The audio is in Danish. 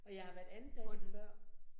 Og jeg har været ansat før